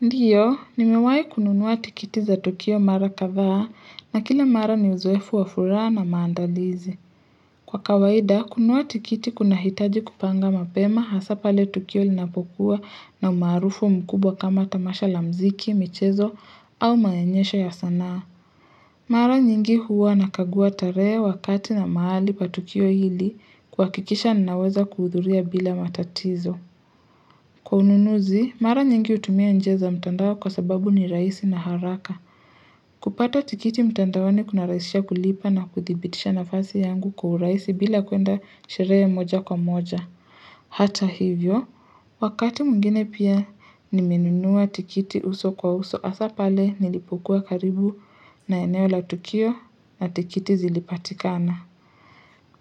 Ndiyo, nimewahi kununua tikiti za Tukio mara kadhaa na kila mara ni uzoefu wa furaha na maandalizi. Kwa kawaida, kununua tikiti kunahitaji kupanga mapema hasa pale Tukio linapokuwa na umaarufu mkubwa kama tamasha la muziki, michezo au maonyesho ya sanaa. Mara nyingi huwa nakagua tarehe wakati na mahali pa Tukio hili kuhakikisha ninaweza kuhudhuria bila matatizo. Kwa ununuzi, mara nyingi hutumia njia za mtandao kwa sababu ni rahisi na haraka. Kupata tikiti mtandaoni kunarahisisha kulipa na kuthibitisha nafasi yangu kwa urahisi bila kwenda sherehe moja kwa moja. Hata hivyo, wakati mwingine pia nimenunua tikiti uso kwa uso hasa pale nilipokuwa karibu na eneo la tukio na tikiti zilipatikana.